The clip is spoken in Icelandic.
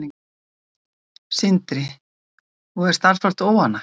Sindri: Og er starfsfólk óánægt?